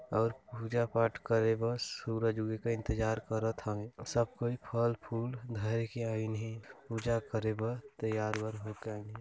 --और पूजा पाठ करे बस सूरज उगे का इंतजार करत हवे सब कोई फल फूल धरे के आइन है पूजा करे बा तैयार वैयार होकर आईन हे।